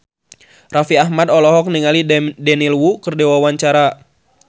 Raffi Ahmad olohok ningali Daniel Wu keur diwawancara